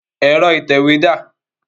Ẹ̀rọ ìtẹ̀wé dá à?